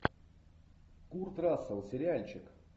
курт рассел сериальчик